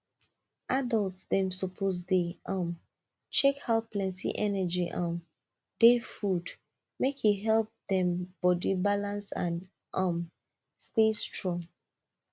adult dem suppose dey um check how plenty energy um dey food make e help dem body balance and um stay strong